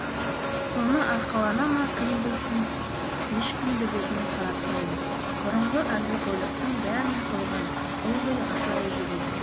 соны арқалана ма кім білсін ешкімді бетіне қаратпайды бұрынғы әзілқойлықтың бәрін қойған ылғи ашулы жүреді